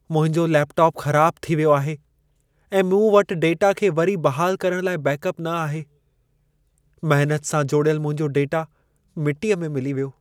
मुंहिंजो लैपटॉप ख़राबु थी वियो आहे ऐं मूं वटि डेटा खे वरी बहालु करण लाइ बैकअप न आहे। महनत सां जोड़ियलु मुंहिंजो डेटा मिटीअ में मिली वियो।